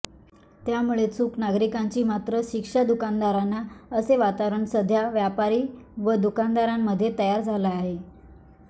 त्यामुळे चूक नागरिकांची मात्र शिक्षा दुकानदारांना असे वातावरण सध्या व्यापारी व दुकानदारांमध्ये तयार झाले आहे